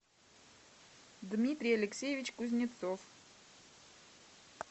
дмитрий алексеевич кузнецов